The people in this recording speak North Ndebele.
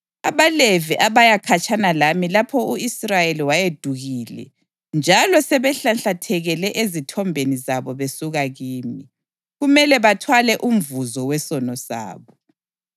AbaLevi abaya khatshana lami lapho u-Israyeli wayeduhile njalo sebehlanhlathekele ezithombeni zabo besuka kimi, kumele bathwale umvuzo wesono sabo.